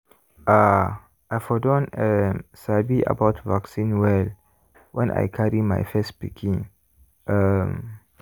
ah! i for don um sabi about vaccine well when i carry my first pikin. um